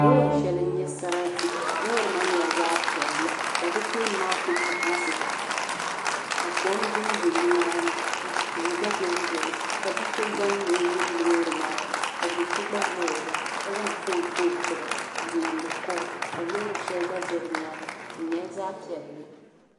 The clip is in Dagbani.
Loori shɛli n nyɛ sarati loori maa nyɛla zaɣapiɛlli ka di tooni maa Ku maɣisi ka kɔm dondo nimaani tihi gba ben beni ka bi'sɔ gbani ni o yuli loori maani ka do'sɔ gba zaɣa la ka zaŋ fon kpa o tiba n niŋdi kool ka loori shɛli gba za di nyaaŋa di nyɛla zaɣapiɛlli